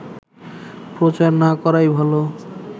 প্রচার না করাই ভাল